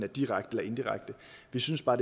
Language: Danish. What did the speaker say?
direkte og indirekte vi synes bare